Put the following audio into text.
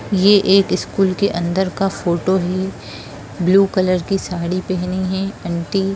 ये एक स्कूल के अंदर का फोटो है ब्लू कलर की साड़ी पेहनी है आंटी ।